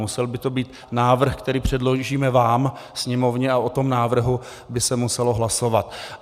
Musel by to být návrh, který předložíme vám, Sněmovně, a o tom návrhu by se muselo hlasovat.